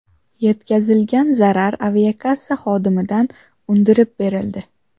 Yetkazilgan zarar aviakassa xodimidan undirib berildi.